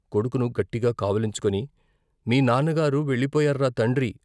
కొడుకును గట్టిగా కావిలించుకొని మీ నాన్నగారు వెళ్ళి పోయార్రా తండ్రి!